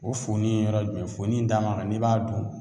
O funin ye yɔrɔ jumɛn funu in d'a ma ka n'i b'a dun